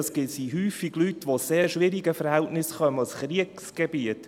– Das sind häufig Leute, die aus sehr schwierigen Verhältnissen kommen, aus Kriegsgebieten.